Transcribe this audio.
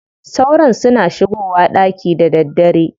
Sauron suna shigowa ɗaki da daddare.